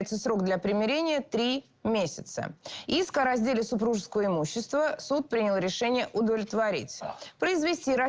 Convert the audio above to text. срок для примирениямесяца иск о разделе супружеского имущества суд принял решение удовлетворить